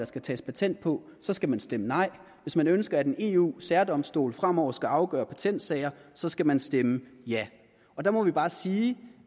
skal tages patent på så skal man stemme nej hvis man ønsker at en eu særdomstol fremover skal afgøre patentsager så skal man stemme ja og der må vi bare sige